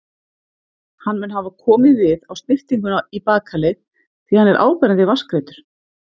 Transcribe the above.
Hann mun hafa komið við á snyrtingunni í bakaleið, því hann er áberandi vatnsgreiddur.